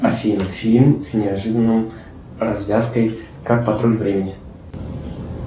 афина фильм с неожиданной развязкой как патруль времени